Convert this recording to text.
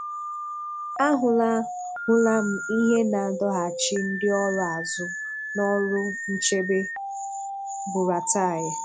A hụ̀là hụ̀là m ihe na-adọ̀hàchì ndị ọrụ azụ n’ọrụ nchèbe – Buratai.